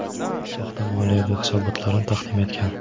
soxta moliyaviy hisobotlarni taqdim etgan.